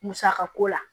Musaka ko la